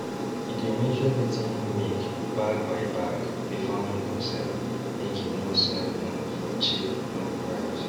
e dey measure wetin him make bag by bag before him go sell make him no sell um for cheap um price